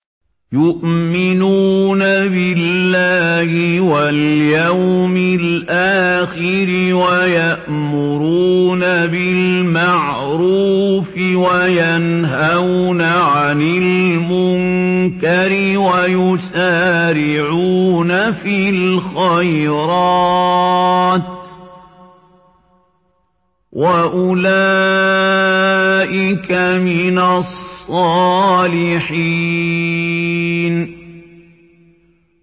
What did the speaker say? يُؤْمِنُونَ بِاللَّهِ وَالْيَوْمِ الْآخِرِ وَيَأْمُرُونَ بِالْمَعْرُوفِ وَيَنْهَوْنَ عَنِ الْمُنكَرِ وَيُسَارِعُونَ فِي الْخَيْرَاتِ وَأُولَٰئِكَ مِنَ الصَّالِحِينَ